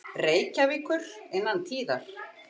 Reykjavíkur innan tíðar.